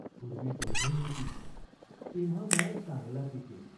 पूर्वी दोघे होती, तेव्हा मळा चांगला पिके.